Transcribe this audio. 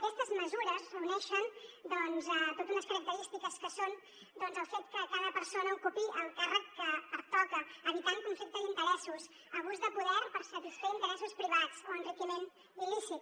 aquestes mesures reuneixen doncs totes unes característiques que són doncs el fet que cada persona ocupi el càrrec que pertoca evitant conflicte d’interessos abús de poder per satisfer interessos privats o enriquiment il·lícit